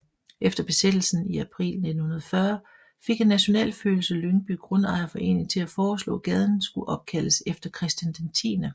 Efter Besættelsen i april 1940 fik en nationalfølelse Lyngby Grundejerforening til at foreslå gaden skulle opkaldes efter Christian 10